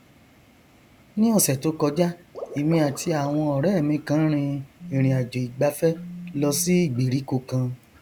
ni ọsẹ tó kọjá èmi àti àwọn ọrẹ mi kan rin ìrìnàjòìgbafẹ lọ sí ìgbèríko kan